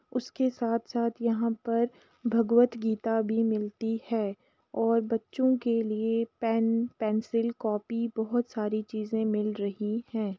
उसके साथ साथ यहाँ पर भागवत गीता भी मिलती है और बच्चों के लिए पेन पेंसिल कॉपी बहोत सारी चीज मिल रही है ।